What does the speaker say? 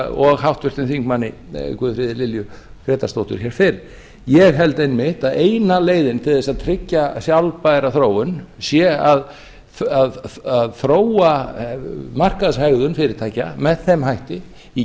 og háttvirtur þingmaður guðfríði lilju grétarsdóttur hér fyrr ég held einmitt að eina leiðin til þess að tryggja sjálfbæra þróun sé að þróa markaðshegðun fyrirtækja með þeim hætti í